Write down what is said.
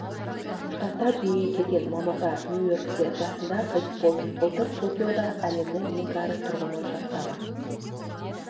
штатында дүниеге келген мамырда нью-йоркте жасында қайтыс болды былтыр токиода әлемнің ең кәрі тұрғыны жастағы